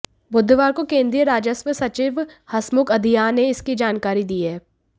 बुधवार को केंद्रीय राजस्व सचिव हसमुख अधिया ने इसकी जानकारी दी है